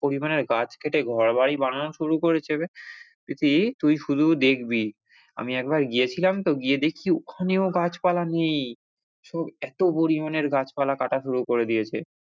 পরিমানের গাছ কেটে ঘরবাড়ি বানানো শুরু করেছে প্রীতি তুই শুধু দেখবি, আমি একবার গিয়েছিলাম তো গিয়ে দেখছি ওখানেও গাছপালা নেই সব এত পরিমানের গাছপালা কাটা শুরু করে দিয়েছে।